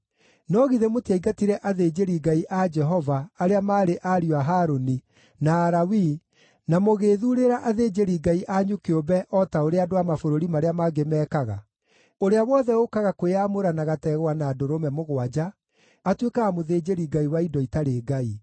No githĩ mũtiaingatire athĩnjĩri-Ngai a Jehova, arĩa maarĩ ariũ a Harũni, na Alawii, na mũgĩĩthuurĩra athĩnjĩri-ngai anyu kĩũmbe o ta ũrĩa andũ a mabũrũri marĩa mangĩ mekaga? Ũrĩa wothe ũũkaga kwĩyamũra na gategwa na ndũrũme mũgwanja atuĩkaga mũthĩnjĩri-ngai wa indo itarĩ ngai.